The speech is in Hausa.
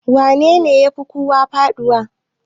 wanene ya Fi kowa faduwa?